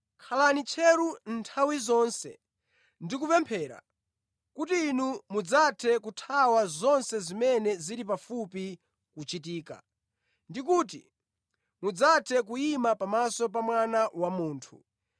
Khalani tcheru nthawi zonse ndi kupemphera kuti inu mudzathe kuthawa zonse zimene zili pafupi kuchitika, ndi kuti mudzathe kuyima pamaso pa Mwana wa Munthu.”